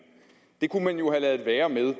det kunne have ladet være med at